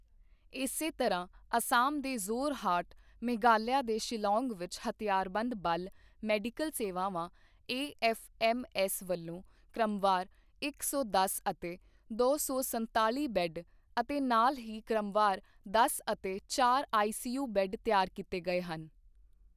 ਇਸੇ ਤਰ੍ਹਾਂ ਅਸਾਮ ਦੇ ਜ਼ੋਰ ਹਾਰਟ ਮੇਘਾਲਯਾ ਦੇ ਸ਼ਿਲੌਂਗ ਵਿੱਚ ਹਥਿਆਰਬੰਦ ਬਲ ਮੈਡੀਕਲ ਸੇਵਾਵਾਂ ਏਐੱਫਐੱਮਐੱਸ ਵੱਲੋਂ ਕ੍ਰਮਵਾਰ ਇੱਕ ਸੌ ਦਸ ਅਤੇ ਦੋ ਸੌ ਸੰਤਾਲੀ ਬੈੱਡ ਅਤੇ ਨਾਲ ਹੀ ਕ੍ਰਮਵਾਰ ਦਸ ਅਤੇ ਚਾਰ ਆਈਸੀਯੂ ਬੈੱਡ ਤਿਆਰ ਕੀਤੇ ਗਏ ਸਨ।